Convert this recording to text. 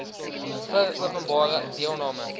vir openbare deelname